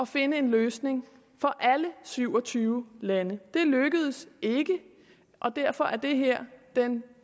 finde en løsning for alle syv og tyve lande det lykkedes ikke og derfor er det her den